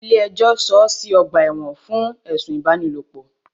Ilé ẹjọ́ sọọ́ sí ọ̀gbà ẹ̀wọ̀n fún ẹ̀sùn ìfipábánilòpò.